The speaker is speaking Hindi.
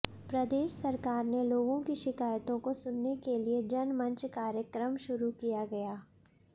प्रदेश सरकार ने लोगों की शिकायतों को सुनने के लिए जनमंच कार्यक्रम शुरू किया गया